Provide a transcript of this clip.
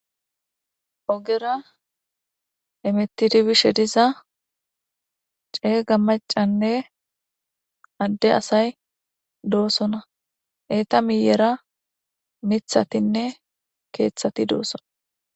ogera emetidibishe diza ceega macanne adde asay doosona eeta miyera mithatinne keeththati doosona